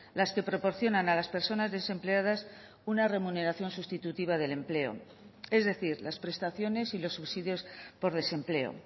las que proporcionan a las personas desempleadas una remuneración sustitutiva del empleo es decir las prestaciones y los subsidios por desempleo